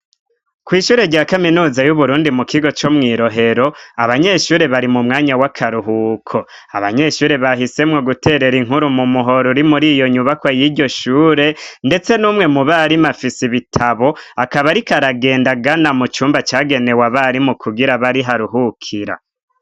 kwishure rya kaminuza y'uburundi mu kigo co mwirohero abanyeshure bari mu mwanya w'akaruhuko abanyeshure bahisemwo guterera inkuru mu muhoro uri muri iyo nyubako y'iryo shure ndetse numwe mu barimu afisi bitabo akaba ariko aragenda agana mu cumba cagenewe abarimu kugira abe ariho aruhukira